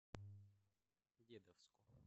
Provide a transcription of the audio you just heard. дедовску